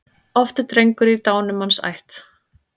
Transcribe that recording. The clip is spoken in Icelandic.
Oft er drengur í dánumanns ætt.